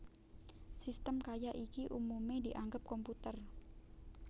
Sistem kaya iki umumé dianggep komputer